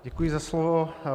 Děkuji za slovo.